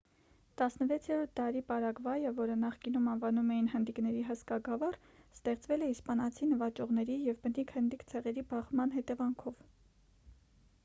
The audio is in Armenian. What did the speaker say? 16-րդ դարի պարագվայը որը նախկինում անվանում էին հնդիկների հսկա գավառ ստեղծվել է իսպանացի նվաճողների և բնիկ հնդիկ ցեղերի բախման հետևանքով